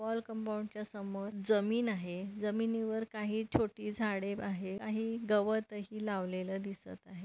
Wall compound च्या समोर जमीन आहे जमिनीवर काही छोटी झाडे आहे आणि गवत ही लावलेले दिसत आहे.